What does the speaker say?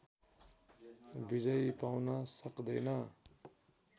विजय पाउन सक्दैन